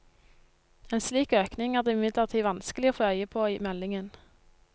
En slik økning er det imidlertid vanskelig å få øye på i meldingen.